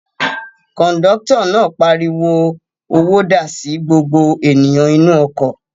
Kọ̀ńdọ́tọ̀ náà pariwo "owó dà" sí gbogbo ènìyàn inú ọkọ̀.